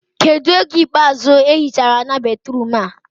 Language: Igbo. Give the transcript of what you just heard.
Kedụ oge ikpeazụ ehi chara ana batruum a?